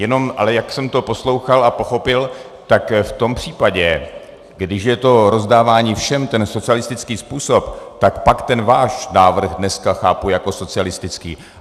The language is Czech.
Jenom ale jak jsem to poslouchal a pochopil, tak v tom případě, když je to rozdávání všem, ten socialistický způsob, tak pak ten váš návrh dneska chápu jako socialistický.